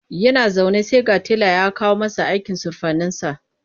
Yana zaune sai ga tela ya kawo masa aikin surfaninsa.